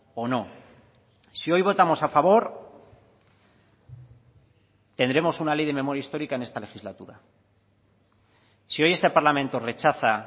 o no si hoy votamos a favor tendremos una ley de memoria histórica en esta legislatura si hoy este parlamento rechaza